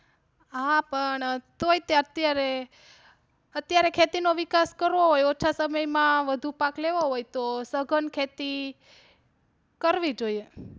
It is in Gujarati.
હા, પણ તોય તે અત્યારે અત્યારે ખેતી નો વિકાસ કરવો હોય ઓછા સમય માં વધુ પાક લેવો હોય તો સઘન ખેતી કરવી જોઈએ.